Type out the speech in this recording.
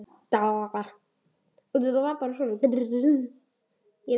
Rétt hjá Kleppi.